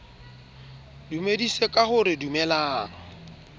dumedise ka ho re dumelang